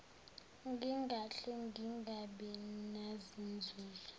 ngingahle ngingabi nazinzuzo